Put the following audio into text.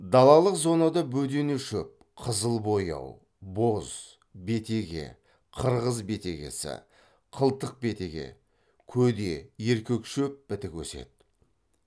далалық зонада бөденешөп қызылбояу боз бетеге қырғыз бетегесі қылтық бетеге көде еркекшөп бітік өседі